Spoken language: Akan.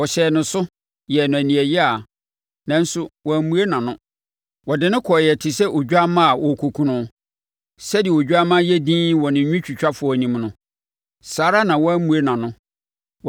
Wɔhyɛɛ no so, yɛɛ no aniɛyaa, nanso wammue nʼano; wɔde no kɔɔeɛ te sɛ odwammaa a wɔrekɔku no. Sɛdeɛ odwammaa yɛ dinn wɔ ne nwitwitwafoɔ anim no, saa ara na wammue nʼano.